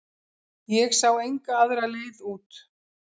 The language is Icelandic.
Ég sá enga aðra leið út.